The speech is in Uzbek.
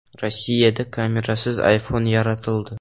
Rossiyada kamerasiz iPhone yaratildi.